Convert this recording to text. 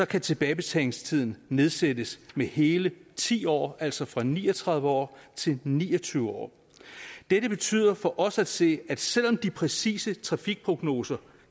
kan tilbagebetalingstiden nedsættes med hele ti år altså fra ni og tredive år til ni og tyve år dette betyder for os at se at selv om de præcise trafikprognoser